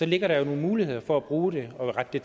ligger der jo nogle muligheder for at bruge det og indrette det